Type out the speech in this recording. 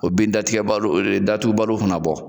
O bin datigɛ baluw o re datugubaluw kana bɔ